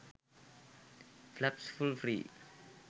fraps full free